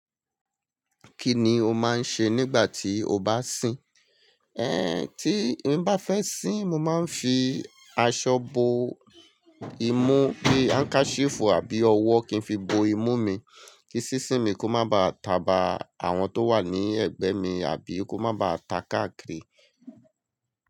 Kí ni o máa ń ṣe nígbà tí o bá ń sìn? Ẹn, tí mo bá fẹ́ sìn, mo máa ń fi aṣọ bo imú, bíi handkerchief àbí ọwọ́ kin fi bo imú mi kí sísín mi kó má ba taba àwọn tó wà ní ẹ̀gbẹ́ mi, àbí kó má ba taka kiri.